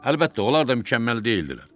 Əlbəttə, onlar da mükəmməl deyildilər.